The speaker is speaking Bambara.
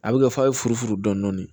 A bɛ kɛ f'a ye furu dɔɔnin